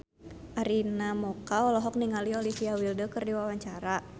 Arina Mocca olohok ningali Olivia Wilde keur diwawancara